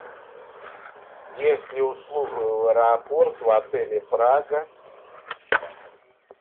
есть ли услуга в аэропорт в отеле прага